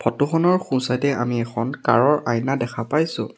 Photo খনৰ সোঁ side এ আমি কাৰ ৰ আইনা দেখা পাইছোঁ।